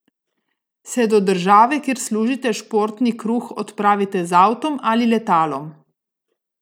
Se do države, kjer služite športni kruh, odpravite z avtom ali letalom?